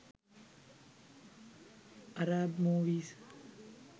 arab movies